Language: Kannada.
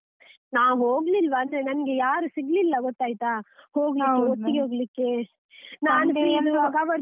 ನಾವ್ ಹೋಗ್ಲಿಲ್ವಾ ಅಂದ್ರೆ ನನ್ಗೆ ಯಾರೂ ಸಿಗ್ಲಿಲ್ಲ ಗೊತ್ತಾಯ್ತಾ, ಒಟ್ಟಿಗೆ ಹೋಗ್ಲಿಕ್ಕೆ ಇರುವಾಗ ಅವರು busy .